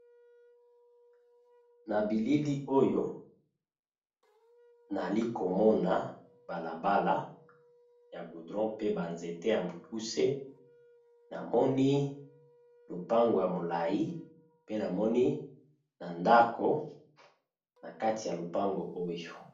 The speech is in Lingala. Na bilili oyo nali komona balabala ya gudron pe banzete ya mokuse namoni lopango ya molai pe namoni na ndako na kati ya lopango oyo.